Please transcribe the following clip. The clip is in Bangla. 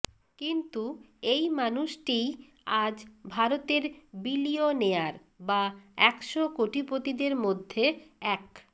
কিন্তু এই মানুষটিই আজ ভারতের বিলিয়নেয়ার বা একশো কোটিপতিদের মধ্যে এক